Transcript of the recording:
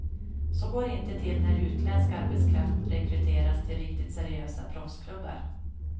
Så går det inte till när utländsk arbetskraft rekryteras till riktigt seriösa proffsklubbar.